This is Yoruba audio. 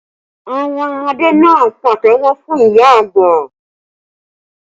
Àwọn ọmọdé náà pàtẹ́wọ́ fún ìyá àgbà